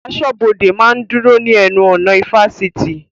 Aṣọ́bọdè máa ń dúró ní ẹnu ọ̀nà ifásitì